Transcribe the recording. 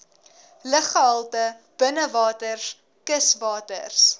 luggehalte binnewaters kuswaters